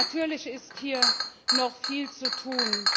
Natürlich ist hier noch viel zu tun.